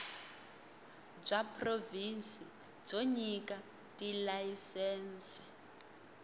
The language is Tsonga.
bya provhinsi byo nyika tilayisense